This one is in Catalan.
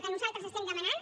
que nosaltres estem demanant